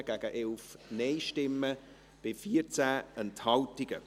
Sie haben den AFP angenommen, mit 124 Ja- gegen 11 Nein-Stimmen bei 14 Enthaltungen.